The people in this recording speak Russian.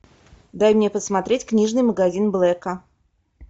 дай мне посмотреть книжный магазин блэка